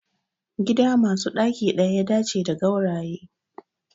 Gida masu ɗaki ɗaya ya dace da gauraye